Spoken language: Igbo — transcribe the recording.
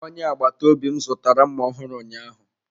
Onye agbata obi m zụtara mma ọhụrụ ụnyaahụ.